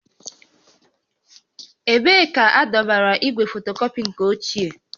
Ebee ka adọbara igwe fotokọpị nke ochie?